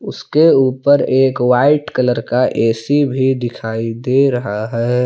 उसके ऊपर एक वाइट कलर का ए_सी भी दिखाई दे रहा है।